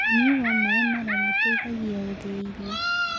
Ũnyũĩ wa mae mararũ ũteĩthagĩa ũteĩthagĩa gũthĩa irio